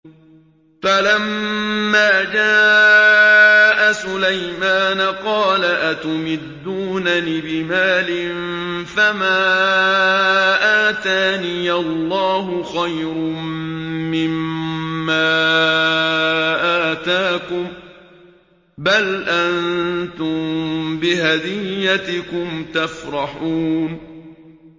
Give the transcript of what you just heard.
فَلَمَّا جَاءَ سُلَيْمَانَ قَالَ أَتُمِدُّونَنِ بِمَالٍ فَمَا آتَانِيَ اللَّهُ خَيْرٌ مِّمَّا آتَاكُم بَلْ أَنتُم بِهَدِيَّتِكُمْ تَفْرَحُونَ